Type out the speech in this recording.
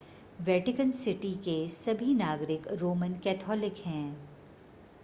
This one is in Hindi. वेटिकन सिटी के सभी नागरिक रोमन कैथोलिक हैं